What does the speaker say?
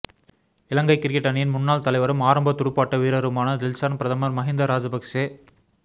இலங்கை cricket அணியின் முன்னாள் தலைவரும் ஆரம்ப துடுப்பாட்ட வீரரருமான டில்ஷான் பிரதமர் மஹிந்த ராஜப